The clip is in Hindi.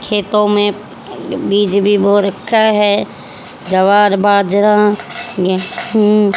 खेतों में बीज भी बो रखा है जवार बाजरा गेहूं।